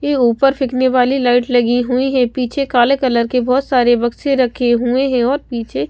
ये ऊपर फेकने वाली लाइट लगी हुई हैं पीछे काले कलर के बहोत सारे बक्से रखे हुए हैं और पीछे --